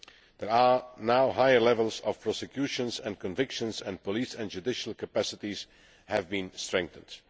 There are now higher levels of prosecution and conviction, and police and judicial capacities have been strengthened.